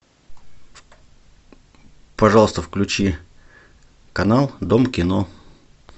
пожалуйста включи канал дом кино